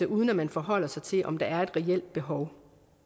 uden at man forholder sig til om der er et reelt behov